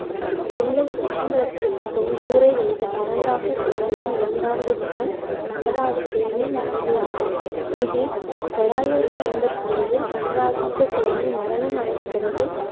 தில்லைச் சிற்றம்பலத்திற்குப் பொன் கூரை வேய்ந்த பராந்தகச் சோழனின் இரண்டாவது மகன் கண்டராதித்தனின் மனைவியாவார். கி பி தொள்ளாயிரத்தி ஐம்பத்தி ஏழில் கண்டராதித்த சோழன் மரணம் அடைந்த பிறகு